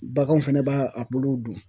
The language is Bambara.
Baganw fɛnɛ ba a buluw dun.